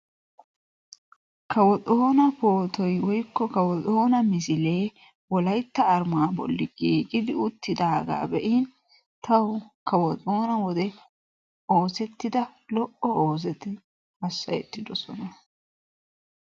Kawo Xoona pootoy woykko Kawo Xoona misilee wolaytta arimaa bolli giigidi uttidaaga beiin tawu kawo Xoona wode oosettida lo"o oosoti hassayettiddosona.